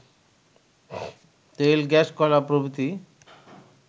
তেল-গ্যাস-কয়লা প্রভৃতি